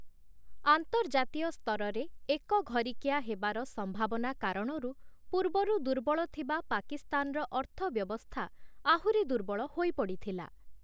ଆନ୍ତର୍ଜାତୀୟ ସ୍ତରରେ ଏକଘରିକିଆ ହେବାର ସମ୍ଭାବନା କାରଣରୁ ପୂର୍ବରୁ ଦୁର୍ବଳଥିବା ପାକିସ୍ତାନର ଅର୍ଥବ୍ୟବସ୍ଥା ଆହୁରି ଦୁର୍ବଳ ହୋଇପଡ଼ିଥିଲା ।